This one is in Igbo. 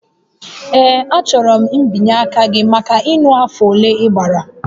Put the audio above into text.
Ee, achọrọ mbinye aka gị maka ịṅụ afọ ole ị gbara